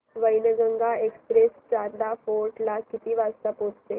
Wainganga express Chanda fort ला किती वाजता पोहचते